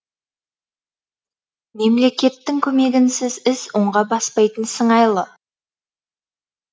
мемлекеттің көмегінсіз іс оңға баспайтын сыңайлы